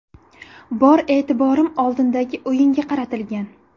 Bor e’tiborim oldindagi o‘yinga qaratilgan.